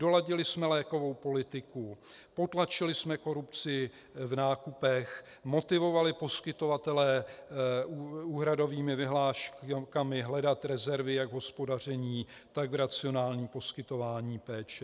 Doladili jsme lékovou politiku, potlačili jsme korupci v nákupech, motivovali poskytovatele úhradovými vyhláškami hledat rezervy jak v hospodaření, tak v racionálním poskytování péče.